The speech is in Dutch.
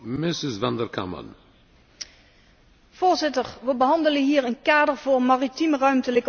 Voorzitter, we behandelen hier een kader voor maritieme ruimtelijke ordening en geïntegreerd kustbeheer.